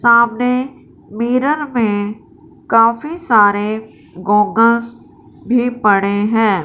सामने मिरर में काफी सारे गोगल्स भी पड़े हैं।